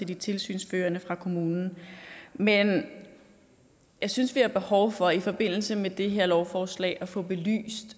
de tilsynsførende fra kommunen men jeg synes vi har behov for i forbindelse med det her lovforslag at få belyst